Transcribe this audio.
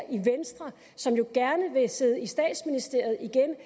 i venstre som jo gerne vil sidde i statsministeriet igen